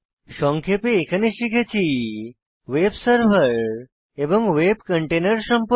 সংক্ষেপে এখানে শিখেছি ভেব সার্ভার এবং ভেব কন্টেইনের সম্পর্কে